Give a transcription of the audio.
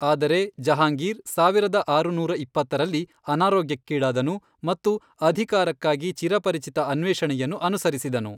ಆದರೆ ಜಹಾಂಗೀರ್ ಸಾವಿರದ ಆರುನೂರ ಇಪ್ಪತ್ತರಲ್ಲಿ, ಅನಾರೋಗ್ಯಕ್ಕೀಡಾದನು ಮತ್ತು ಅಧಿಕಾರಕ್ಕಾಗಿ ಚಿರಪರಿಚಿತ ಅನ್ವೇಷಣೆಯನ್ನು ಅನುಸರಿಸಿದನು.